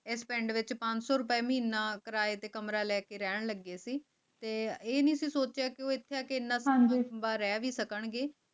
ਏਸ ਪਿੰਡ ਦੇ ਪੰਚੋ ਰੁਪਏ ਮਹੀਨਾ ਕਿਰਾਏ ਤੇ ਕਮਰਾ ਲੈਕੇ ਰਹਿਣਗੇ ਤੇ ਏਨੀ ਸੋਚਿਆ ਕਿ ਉਹ ਇੱਥੇ ਤੈਨਾਤ ਹਨ ਭਿੰਨਾਂ ਲੰਮਾਂ ਰਹਿ ਵੀ ਸਕਣਗੇ